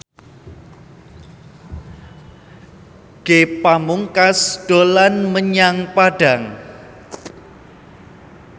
Ge Pamungkas dolan menyang Padang